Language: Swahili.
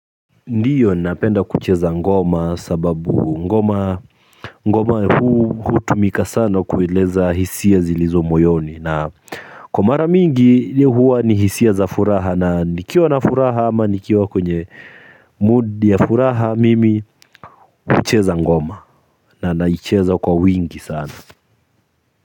Ndio napenda kucheza ngoma sababu ngoma ngoma hutumika sana kueleza hisia zilizo moyoni na kwa mara mingi huwa ni hisia za furaha na nikiwa na furaha ama nikiwa kwenye mood ya furaha mimi hucheza ngoma na naicheza kwa wingi sana.